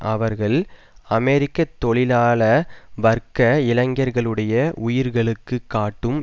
அவர்கள் அமெரிக்க தொழிலாள வர்க்க இளைஞர்களுடைய உயிர்களுக்கு காட்டும்